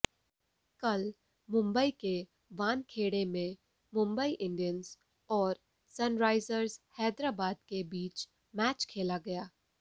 कल मुंबई के वानखेड़े में मुंबई इंडियंस और सनराइजर्स हैदराबाद के बीच मैच खेला गया